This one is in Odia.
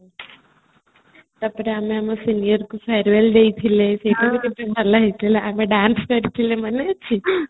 ତାପରେ ଆମେ ଆମ senior କୁ farewell ଦେଇଥିଲେ ସେଇଟା ବି କେତେ ଭଲ ହେଇଥିଲା ଆମେ dance କରିଥିଲେ ମନେ ଅଛି